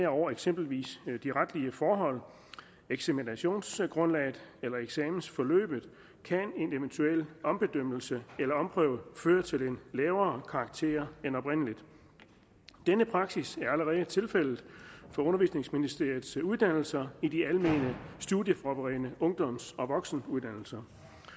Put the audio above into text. over eksempelvis de retlige forhold eksaminationsgrundlaget eller eksamensforløbet kan en eventuel ombedømmelse eller omprøve føre til en lavere karakter end oprindelig denne praksis er allerede tilfældet for undervisningsministeriets uddannelser i de almene studieforberedende ungdoms og voksenuddannelser